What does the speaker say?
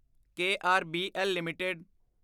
KRBL LTD